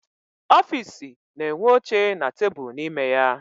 Ọfịịsi na-enwe oche na tebulu n'ime ya.